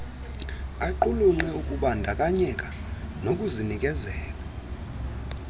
aqulunqe ukubandakanyeka nokuzinikezela